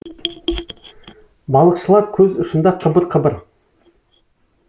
балықшылар көз ұшында қыбыр қыбыр